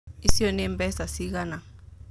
Icio nĩ mbeca cigana